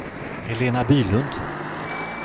Helena Bylund